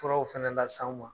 Furaw fana lase an ma